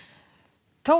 tófan